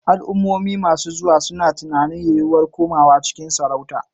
Al'ummomi masu zuwa suna tunanin yiwuwar komawa cikin sarauta.